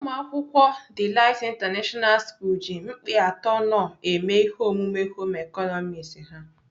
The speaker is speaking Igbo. Umuakwukwo Delight International school ji mkpịatọ knorr eme ihe omume Home ịkọnọmiks ha.